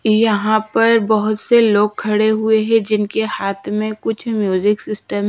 यहाँ पर बहोत से लोग खड़े हुए हैं जिनके हाथ में कुछ म्यूजिक सिस्टम --